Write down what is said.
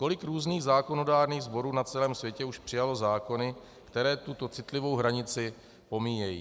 Kolik různých zákonodárných sborů na celém světě už přijalo zákony, které tuto citlivou hranici pomíjejí?